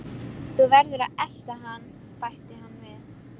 Þú verður að elta hann bætti hann við.